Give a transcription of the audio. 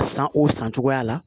San o san cogoya la